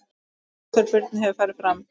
Útför Birnu hefur farið fram.